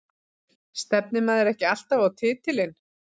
Stefnir maður ekki alltaf á titilinn?